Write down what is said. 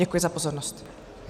Děkuji za pozornost.